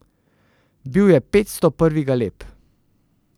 Bil je petsto prvi galeb.